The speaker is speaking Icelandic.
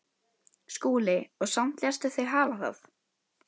SKÚLI: Og samt léstu þig hafa það?